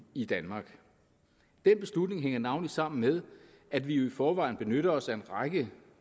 i danmark den beslutning hænger navnlig sammen med at vi jo i forvejen benytter os af en række